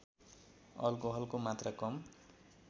अल्कोहलको मात्रा कम